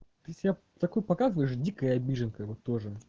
ты себя такой показываешь дикая обиженка вот тоже